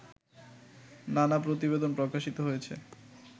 নানা প্রতিবেদন প্রকাশিত হয়েছে